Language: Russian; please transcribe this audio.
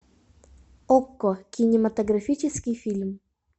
окко кинематографический фильм